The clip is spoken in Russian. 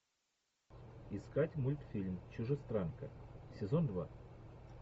искать мультфильм чужестранка сезон два